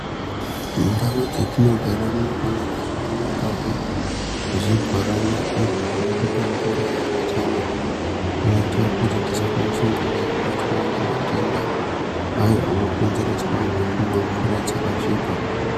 Ndau dzatinogara dzinofanira kuonekwawo zvibhorani izvo zvinotipa mvura yakachena inoita kuti tisabatwa nematenda ayo anokonzereswa nekumwa mvura yakasvipa.